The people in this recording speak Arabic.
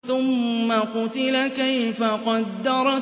ثُمَّ قُتِلَ كَيْفَ قَدَّرَ